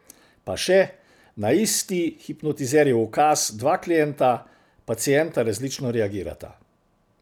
Pa še, na isti hipnotizerjev ukaz dva klienta, pacienta različno reagirata.